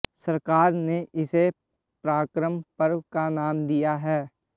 सरकार ने इसे पराक्रम पर्व का नाम दिया है